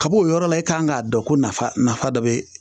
Kab'o yɔrɔ la,, e kan k'a dɔn ko nafa nafa dɔ bɛ yen